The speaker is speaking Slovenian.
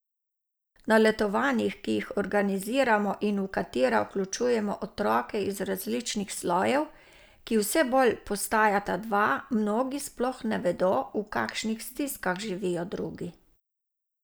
Na letovanjih, ki jih organiziramo in v katera vključujemo otroke iz različnih slojev, ki vse bolj postajata dva, mnogi sploh ne vedo, v kakšnih stiskah živijo drugi.